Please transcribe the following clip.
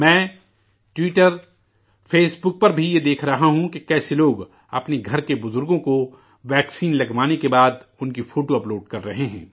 میں Twitter Facebook پر بھی یہ دیکھ رہا ہوں، کہ کیسے لوگ اپنے گھر کے بزرگوں کو ٹیکہ لگوانے کے بعد، انکی فوٹو اَپ لوڈ کر رہے ہیں